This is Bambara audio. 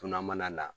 Dunan mana na